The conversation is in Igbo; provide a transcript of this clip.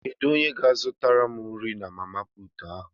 Kedu onye ga zụtara m nri na mama puutụ ahu?